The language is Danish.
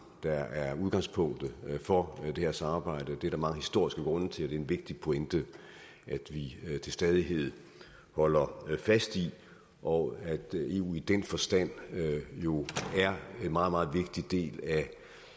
der er udgangspunktet for det her samarbejde det er der mange historiske grunde til er en vigtig pointe at vi til stadighed holder fast i det og at eu i den forstand jo er en meget meget vigtig del af